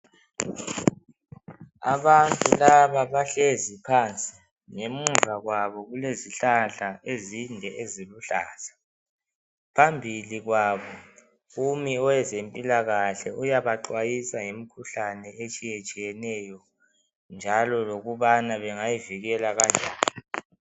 Abantu laba bahlezi phansi ngemuva kwabo kulezihlahla ezinde eziluhlaza phambili kwabo kumi owezempilakahle uyabaxhwayisa ngemikhuhlane etshiyetshiyeneyo njalo lokubana bengayivikela kanjani.